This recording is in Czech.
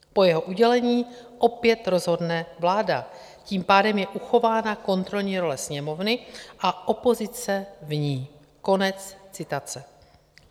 Po jeho udělení opět rozhodne vláda, tím pádem je uchována kontrolní role Sněmovny a opozice v ní.